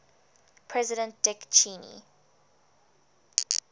president dick cheney